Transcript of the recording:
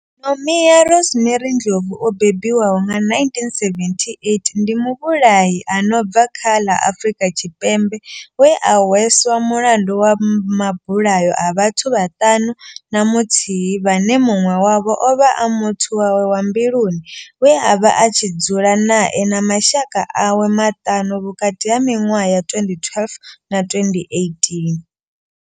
Nomia Rosemary Ndlovu o bebiwaho nga 1978 ndi muvhulahi a no bva kha ḽa Afurika Tshipembe we a hweswa mulandu wa mabulayo a vhathu vhaṱanu na muthihi vhane munwe wavho ovha a muthu wawe wa mbiluni we avha a tshi dzula nae na mashaka awe maṱanu vhukati ha minwaha ya 2012 na 2018.